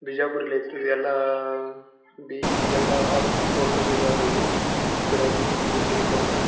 ಬಿಜಾಪುರಲ್ಲಿ ಐತ್ರಿ ಎಲ್ಲಾಆಆ ಬಿ.ಈ ಎಲ್ಲ ಆಲ್ ಕೋರ್ಸಸ್ ಇದಾವ್ರಿ ಇಲ್ಲಿ ಗ್ರ್ಯಾಜುಯೆಟ್ ಡಿಗ್ರಿ ಕೋರ್ಸಸ್ --